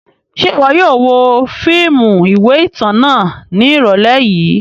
Ṣe iwọ yóò wo fiimu iwe itan náa ni irọlẹ yii?